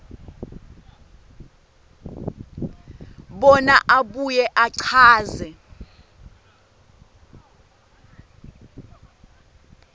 bona abuye achaze